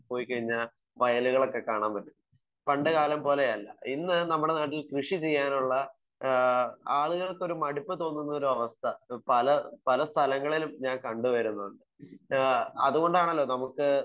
Speaker 1 പോയി കഴിഞ്ഞാൽ വയലുകളൊക്കെ കാണാൻ പറ്റും? പണ്ട് കാലം പോലെ അല്ല. ഇന്ന് നമ്മുടെ നാട്ടിൽ കൃഷി ചെയ്യാനുള്ള ഏഹ് ആളുകൾക്കൊരു മടുപ്പ് തോന്നുന്ന ഒരു അവസ്ഥ പല പല സ്ഥലങ്ങളിലും ഞാൻ കണ്ട് വരുന്നു. ഏഹ് അത് കൊണ്ടാണല്ലോ നമുക്ക്,